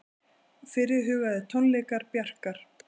Fyrirhugaðir tónleikar Bjarkar